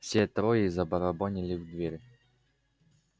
все трое забарабанили в дверь